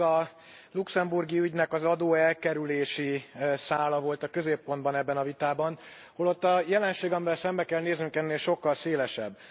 Eddig a luxemburgi ügynek az adóelkerülési szála volt a középpontban ebben a vitában, holott a jelenség, amivel szembe kell néznünk ennél sokkal szélesebb.